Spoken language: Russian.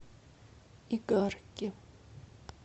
игарке